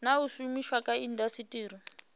na u shumiswa kha indasiteri